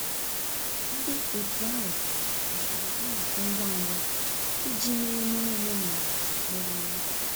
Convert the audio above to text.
Ndị otu ahụ haziri nnọkọ ngwa ngwa iji mee emume omenala mere eme